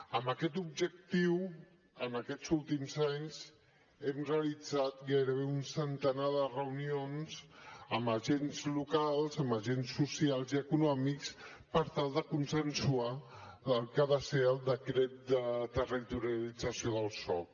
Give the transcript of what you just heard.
amb aquest objectiu en aquests últims anys hem realitzat gairebé un centenar de reunions amb agents locals amb agents socials i econòmics per tal de consensuar el que ha de ser el decret de territorialització del soc